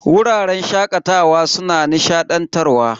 Wuraren shakatawa suna nishadantarwa.